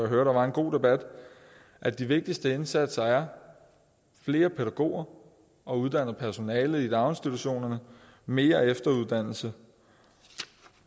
der var en god debat at de vigtigste indsatser er flere pædagoger og uddannet personale i daginstitutionerne mere efteruddannelse